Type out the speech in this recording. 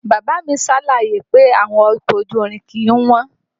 Bàbá a mi ṣàlàyé pé owó ọkọ̀ ojú irin kìí wọ́n